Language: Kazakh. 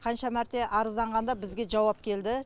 қанша мәрте арызданғанда бізге жауап келді